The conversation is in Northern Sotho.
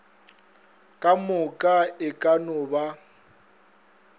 kamoka e ka no ba